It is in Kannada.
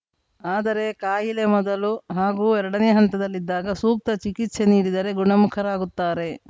ಆದರೆ ಕಾಯಿಲೆ ಮೊದಲು ಹಾಗೂ ಎರಡನೇ ಹಂತದಲ್ಲಿದ್ದಾಗ ಸೂಕ್ತ ಚಿಕಿತ್ಸೆ ನೀಡಿದರೆ ಗುಣಮುಖರಾಗುತ್ತಾರೆ